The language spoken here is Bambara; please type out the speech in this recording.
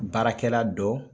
Baarakɛla dɔ